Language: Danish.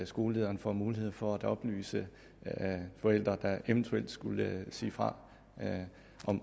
skolelederen får mulighed for at oplyse forældre der eventuelt skulle sige fra